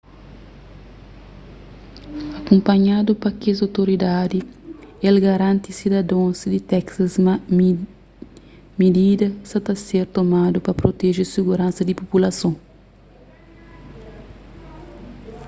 akunpanhadu pa kes otoridadi el garanti sidadons di texas ma midida sa ta ser tomadu pa proteje siguransa di populason